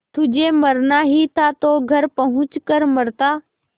तुझे मरना ही था तो घर पहुँच कर मरता